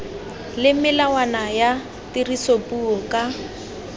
le melawana ya tirisopuo ka